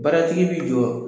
Baratigi bɛ jɔ